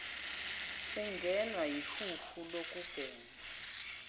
ungenwa yihuha lokubhema